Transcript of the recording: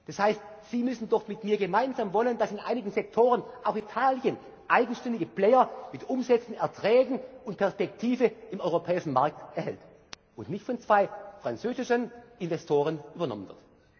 Das heißt, Sie müssen doch mit mir gemeinsam wollen, dass in einigen Sektoren auch Italien eigenständige Player mit Umsätzen, Erträgen und Perspektive im europäischen Markt erhält und nicht von zwei französischen Investoren übernommen